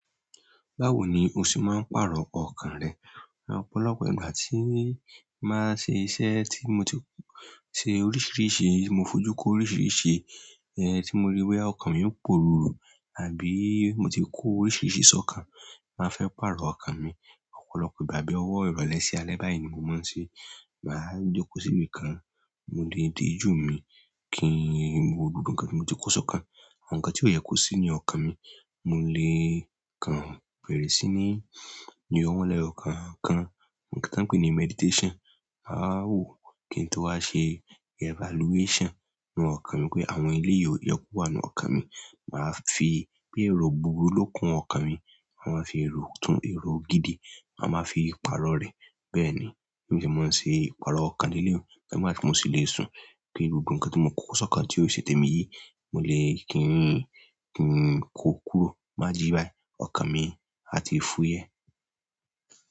Báwo ni o ṣe máa ń paarọ ọkan rẹ? Ọ̀pọ̀lọpọ̀ ìgbà tí máa ń ṣe iṣẹ́ tí mo ti ṣe oríṣiríṣi, mo fojú kó oríṣiríṣi, tí mo rí i bóyá ọkan mi ń pororo àbí mo ti kó oríṣiríṣi sọkan, má fẹ́ paarọ ọkan mi. Ọ̀pọ̀lọpọ̀ ìgbà bí ọwọ ìrọ̀lẹ́ sí alẹ́ báyi ni mo máa ń ṣe. Má jọ kó sí ibi kan, mo lè dijú mi kín wo gbogbo ǹkan tí mo ti kó sọkan. Àwọn ǹkan tí ó yẹ kó sí ní ọkan mi, mo lè kan bẹrẹ sí ní yọ wọn lẹyọkookan, ǹkan kan pè ní meditation. A wo kí n tó wá ṣe evaluation nínú ọkan mi pé àwọn eléyi ó yẹ kó wà nínú ọkan mi. Má fi bí èrò búburú lo kún ọkan mi, a máa fi èrò tún èrò gidi, a máa fi paarọ rẹ. Bẹ́ẹ̀ni, bí mo ṣe ń ṣe iparọ ọkan leléyìí, ìgbà tí mo ṣi lè ṣun, kí gbogbo ǹkan tí mo ti kó sọkan tí o ṣe tẹmi yí, mo lè, kín kó kúrò. Tí n bá jí báyi, ọkan mi a ti fúyẹ́.